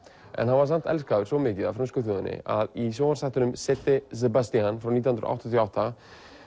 en hann var samt elskaður svo mikið af frönsku þjóðinni að í sjónvarpsþætti nítján hundruð áttatíu og átta